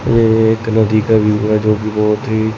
ये एक नदी का व्यू है जो की बहोत ही--